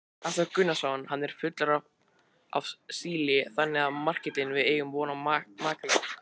Hafþór Gunnarsson: Hann er fullur af síli þannig að makríllinn, við eigum von á makríl?